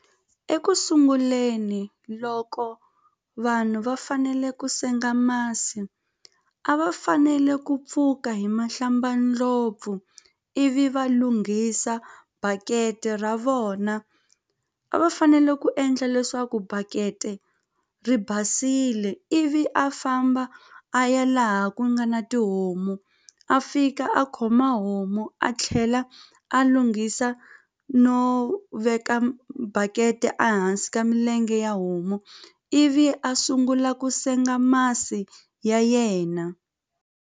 Ekusunguleni loko vanhu va fanele ku senga masi a va fanele ku pfuka hi mahlambandlopfu ivi va lunghisa bakete ra vona a va fanele ku endla leswaku bakete ri basile ivi a famba a ya laha ku nga na tihomu a fika a khoma homu a tlhela a lunghisa no veka bakete a hansi ka milenge ya homu ivi a sungula ku senga masi ya yena.